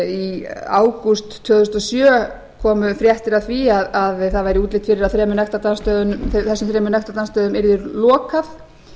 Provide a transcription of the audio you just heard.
í ágúst tvö þúsund og sjö komu fréttir af því að það væri útlit fyrir að þessumþremur nektardansstöðum yrði lokað